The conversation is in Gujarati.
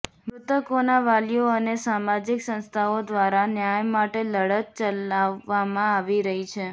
મૃતકોના વાલીઓ અને સામાજિક સંસ્થાઓ દ્વારા ન્યાય માટે લડત ચલાવવામાં આવી રહી છે